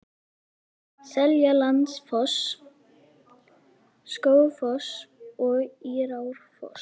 Seljalandsfoss, Skógafoss og Írárfoss.